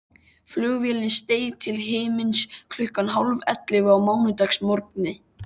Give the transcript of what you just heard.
Flugvélin steig til himins klukkan hálfellefu á mánudagsmorgni.